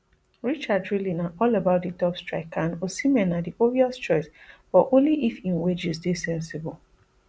richard really na all about di top striker and osimhen na di obvious choice but only if im wages dey sensible